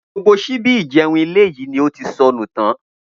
Gbogbo s̩íbí ìje̩un ilé yìí ni ó ti so̩nù tán